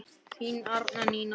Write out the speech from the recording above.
Þín Arndís Nína.